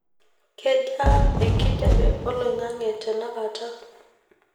kejaa enkijape olaing; ang;e tenakata